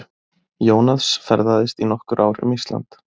Jónas ferðaðist í nokkur ár um Ísland.